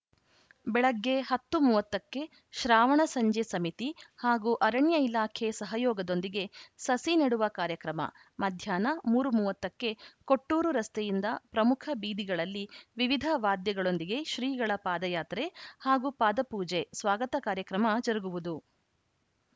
ಬೆಳಗ್ಗೆ ಹತ್ತು ಮೂವತ್ತ ಕ್ಕೆ ಶ್ರಾವಣ ಸಂಜೆ ಸಮಿತಿ ಹಾಗೂ ಅರಣ್ಯ ಇಲಾಖೆ ಸಹಯೋಗದೊಂದಿಗೆ ಸಸಿ ನೆಡುವ ಕಾರ್ಯಕ್ರಮ ಮಾಧ್ಹ್ಯಾನ ಮೂರು ಮೂವತ್ತ ಕ್ಕೆ ಕೊಟ್ಟೂರು ರಸ್ತೆಯಿಂದ ಪ್ರಮುಖ ಬೀದಿಗಳಲ್ಲಿ ವಿವಿಧ ವಾದ್ಯಗಳೊಂದಿಗೆ ಶ್ರೀಗಳ ಪಾದಯಾತ್ರೆ ಹಾಗೂ ಪಾದ ಪೂಜೆ ಸ್ವಾಗತ ಕಾರ್ಯಕ್ರಮ ಜರುಗುವುದು